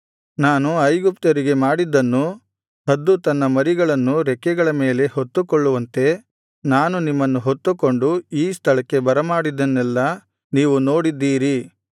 ನಾನು ಐಗುಪ್ತ್ಯರಿಗೆ ಮಾಡಿದ್ದನ್ನೂ ಹದ್ದು ತನ್ನ ಮರಿಗಳನ್ನು ರೆಕ್ಕೆಗಳ ಮೇಲೆ ಹೊತ್ತುಕೊಳ್ಳುವಂತೆ ನಾನು ನಿಮ್ಮನ್ನು ಹೊತ್ತುಕೊಂಡು ಈ ಸ್ಥಳಕ್ಕೆ ಬರಮಾಡಿದ್ದನ್ನೆಲ್ಲಾ ನೀವು ನೋಡಿದ್ದೀರಿ